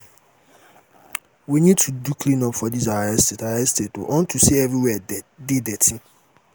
we need to do clean up for dis our estate our estate unto say everywhere dey dirty